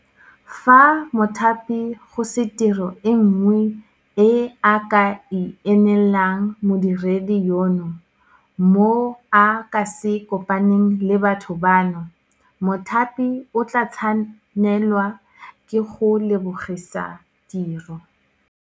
Fa mothapi go se tiro e nngwe e a ka e neelang modiredi yono mo a ka se kopaneng le batho bano, mothapi o tla tshwanelwa ke go mo lebogisa tiro.